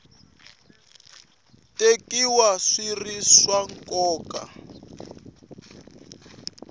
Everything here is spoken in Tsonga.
tekiwa swi ri swa nkoka